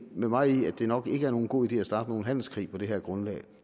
med mig i at det nok ikke er nogen god idé at starte nogen handelskrig på det her grundlag